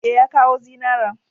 E, ya kawo zinaran.